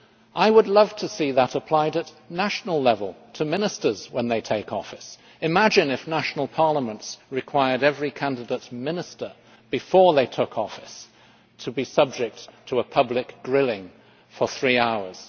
I would love to see that applied at national level to ministers when they take office. Imagine if national parliaments required every candidate minister before they took office to be subject to a public grilling for three hours.